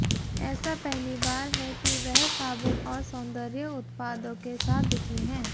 ऐसा पहली बार है कि वह साबुन और सौंदर्य उत्पादों के साथ दिखें हैं